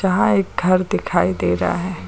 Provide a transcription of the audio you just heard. यहां एक घर दिखाई दे रहा है।